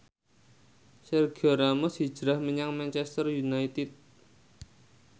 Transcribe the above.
Sergio Ramos hijrah menyang Manchester united